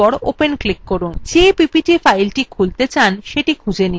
যে ppt filethe খুলতে চান সেটি খুঁজে নিন